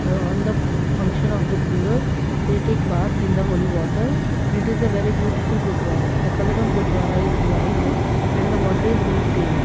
uh on the function of gurupurab they take bath in the holy water and it is a very beautiful gurudwara the colour of gurudwara is white and the water is neat clean.